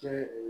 Kɛ ee